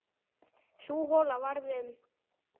Sú hola varð um